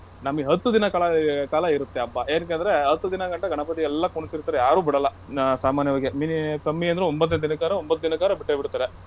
ನಮ್ಗೆ ಹತ್ತು ದಿನ ಕಾಲ ಕಾಲ ಇರುತ್ತೆ ಹಬ್ಬ ಏನಕೆ ಅಂದ್ರೆ ಹತ್ತು ದಿನಗಂಟ ಗಣಪತಿ ಎಲ್ಲಾ ಕುಣ್ಸಿರ್ತಾರೆ ಯಾರು ಬಿಡಲ್ಲ ಅಹ್ ಸಾಮಾನ್ಯವಾಗಿ mini~ ಕಮ್ಮಿ ಅಂದ್ರು ಒಂಭತ್ತು ದಿನಕ್ಕಾರೂ ಒಂಭತ್ತು ದಿನಕ್ಕಾರೂ ಬಿಟ್ಟೆ ಬಿಡ್ತಾರೆ.